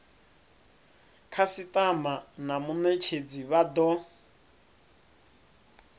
khasitama na munetshedzi vha do